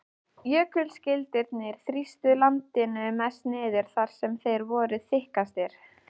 Jökulskildirnir þrýstu landinu mest niður þar sem þeir voru þykkastir.